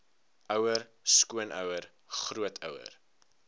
ouer skoonouer grootouer